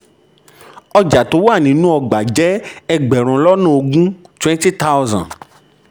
ọjà tó wà nínú igbá jẹ́ ẹgbẹ̀rún lọ́nà ogún ogún twenty thousand.